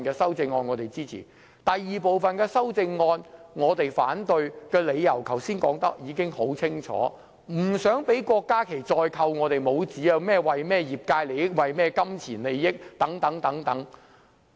至於第二組修正案，我們反對的理由，剛才已說得很清楚，我們不想讓郭家麒議員再扣我們帽子，指我維護業界利益或金錢利益等。